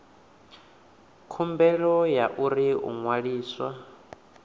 khumbelo ya uri u ṅwaliswa